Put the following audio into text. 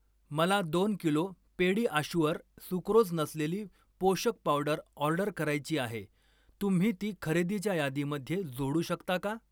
मला दोन kilo PediaSure sucrose नसलेली पोषक पावडर ऑर्डर करायची आहे, तुम्ही ती खरेदीच्या यादीमध्ये जोडू शकता का?